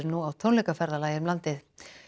nú á tónleikaferðalagi um landið